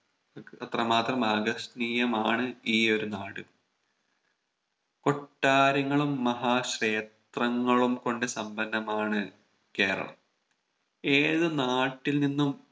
അത്ര മാത്രം ആകർഷണീയമാണ് ഈ ഒരു നാട് കൊട്ടാരങ്ങളും മഹാ ക്ഷേത്രങ്ങളും കൊണ്ട് സമ്പന്നമാണ് കേരളം ഏത് നാട്ടിൽ നിന്നും